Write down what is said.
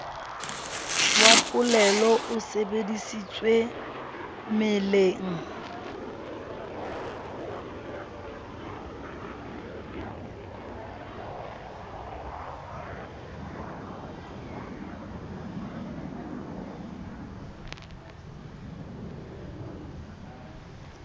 wa polelo o sebedisitsweng meleng